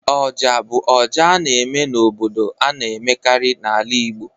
Oja bụ ọjà a na-eme n'obodo a na-emekarị n'ala Igbo